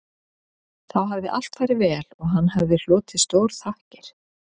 Þá hafði allt farið vel og hann hlotið stórþakkir